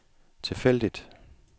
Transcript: tilfældigt